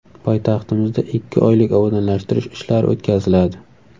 Poytaxtimizda ikki oylik obodonlashtirish ishlari o‘tkaziladi.